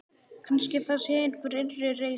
Kannski það sé einhver innri reisa.